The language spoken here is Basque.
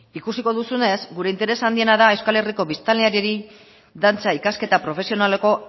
ikusiko duzunez gure interes handiena da euskal herriko biztanleriari dantza ikasketa profesionaleko